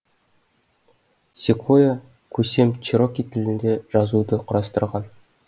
секвойя көсем чероки тілінде жазуды құрастырған